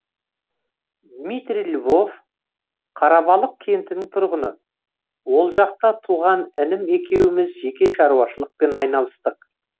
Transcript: дмитрий львов қарабалық кентінің тұрғыны ол жақта туған інім екеуіміз жеке шаруашылықпен айналыстық